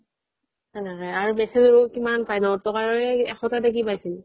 আৰু message ৰো কিমান পায় দহ টকাৰে একশটা নে কি পাইছিল